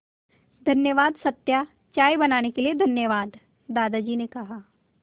धन्यवाद सत्या चाय बनाने के लिए धन्यवाद दादाजी ने कहा